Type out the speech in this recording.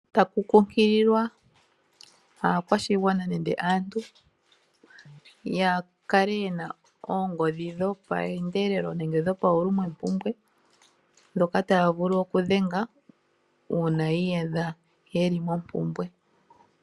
Takukunkililwa aakwashigwana nenge aantu, yakale yena oongodhi dhopaendelelo nenge dhopaulumwempumbwe ndhoka taya vulu okudhenga uuna yi iyadha yeli mompumbwe.